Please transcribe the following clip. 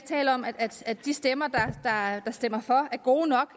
taler om at de stemmer der stemmer for er gode og